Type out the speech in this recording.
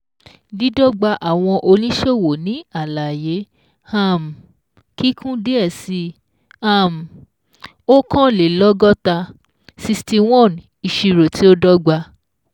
Dídọ́gba àwọn Oníṣòwò ní Àlàyé um Kíkún díẹ̀ sí um oókanlélọ́gọ́ta ( sixty one ) ÌṢIRÒ TÍ Ó DỌ́GBA.